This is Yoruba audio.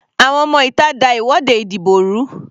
Àwọn ọmọ ìta da ìwọ́de ìdìbò rú.